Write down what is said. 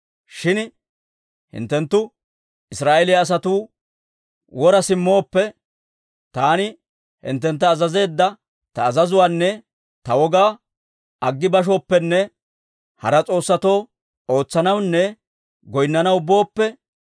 «Shin hinttenttu Israa'eeliyaa asatuu wora simmooppe, taani hinttentta azazeedda ta azazuwaanne ta wogaa aggi bashooppenne hara s'oossatoo ootsanawunne goynnanaw booppe,